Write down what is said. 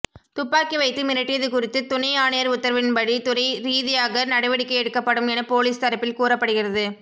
துப்பாக்கி வைத்து மிரட்டியது குறித்து துணை ஆணையர் உத்தரவின்படி துறை ரீதியாக நடவடிக்கை எடுக்கப்படும் என போலீஸ் தரப்பில் கூறப்படுகிறது